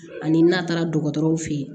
Ani n'a taara dɔgɔtɔrɔw fe ye